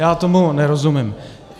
Já tomu nerozumím.